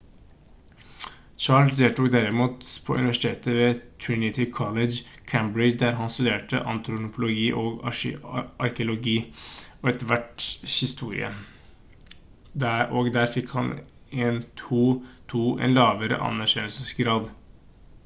charles deltok derimot på universitetet ved trinity college cambridge der han studerte antropologi og arkeologi og etter hvert historie og der han fikk en 2:2 en lavere annenklassegrad